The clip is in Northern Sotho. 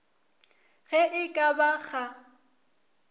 ge e ka ba ga